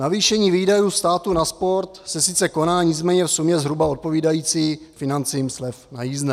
Navýšení výdajů státu na sport se sice koná, nicméně v sumě zhruba odpovídající financím slev na jízdné.